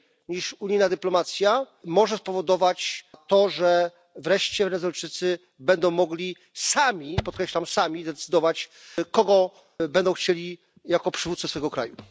niż unijna dyplomacja może spowodować to, że wreszcie Wenezuelczycy będą mogli sami podkreślam sami decydować, kogo będą chcieli jako przywódcę tego kraju.